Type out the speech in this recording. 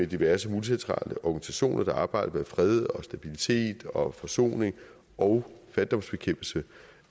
diverse multilaterale organisationer der arbejder for fred og stabilitet og forsoning og fattigdomsbekæmpelse